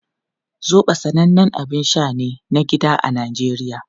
Zobo sanannen abin sha ne na gida a Najeriya.